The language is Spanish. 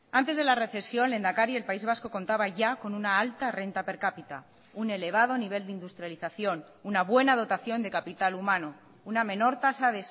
antes de la recesión lehendakari el país vasco contaba ya con una alta renta per cápita un elevado nivel de industrialización una buena dotación de capital humano una menor tasa